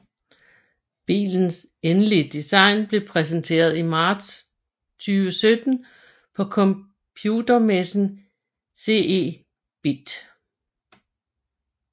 Bilens endelige design blev præsenteret i marts 2017 på computermessen CeBIT